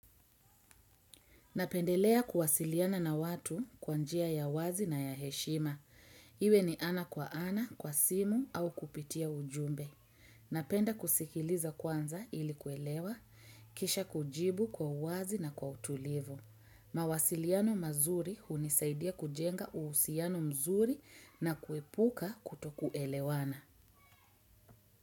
Napendelea kuwasiliana na watu kwa njia ya wazi na ya heshima. Iwe ni ana kwa ana, kwa simu au kupitia ujumbe. Napenda kusikiliza kwanza ili kuelewa, kisha kujibu kwa wazi na kwa utulivu. Mawasiliano mazuri hunisaidia kujenga uusiano mzuri na kuepuka kutoku elewana.